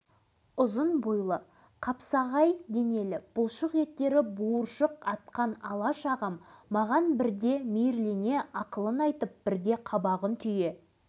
буырқанған бұла күш дегені есте алашыбай ағадан менің үйренгенім көп ол әрі қатал әрі мейірімді жаттықтырушым